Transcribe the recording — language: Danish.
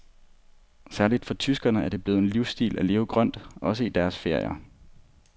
Særligt for tyskerne er det blevet en livsstil at leve grønt, også i deres ferie.